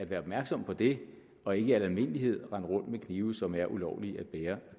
være opmærksom på det og ikke i al almindelighed rende rundt med knive som er ulovlige at bære